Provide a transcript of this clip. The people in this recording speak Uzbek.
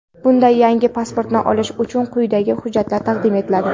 Bunda yangi pasportni olish uchun quyidagi hujjatlar taqdim etiladi:.